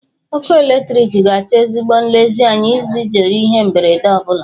Ọrụ eletriki ga-achọ ezigbo nlezianya iji zere ihe mberede ọ bụla.